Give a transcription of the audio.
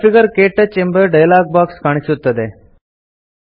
configure - ಕ್ಟಚ್ ಎಂಬ dialog box ಕಾಣಿಸುತ್ತದೆ